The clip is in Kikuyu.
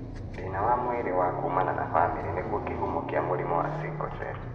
Thĩna wa mwĩrĩ wa kumana na bamĩrĩ nĩguo kĩhumo kĩa mũrimũ wa sickle cell.